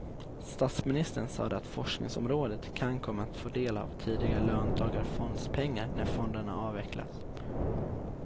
Statsministern sade att forskningsområdet kan komma att få del av tidigare löntagarfondspengar när fonderna avvecklas.